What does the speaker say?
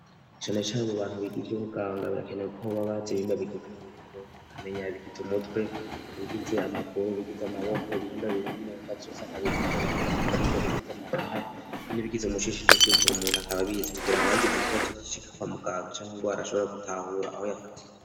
Cane cane mu bantu biga ivy'ubuganga birakenewe ko baba bazi ibihimba bigize umubiri w'umuntu, bakamenya ibigize umutwe, ibigize amaguru, ibigize amaboko, ibihimba biri mu nda vyose akabimenya, ibigize amafyigo, ibigize amahaha, n'ibigize umushishito vyose, umuntu akaba abizi kugira ngo hagize ikibazo gishika kwa muganga canke ingwara ashobora gutahura aho yafatiye.